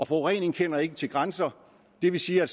forurening kender ikke til grænser og det vil sige at